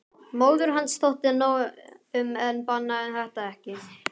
Móður hans þótti nóg um en bannaði þetta ekki.